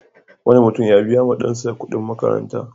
Wani mutum ya biya wa ɗansa kuɗin makaranta.